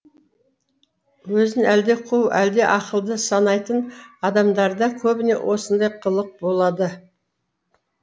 өзін әлде қу әлде ақылды санайтын адамдарда көбіне осындай қылық болады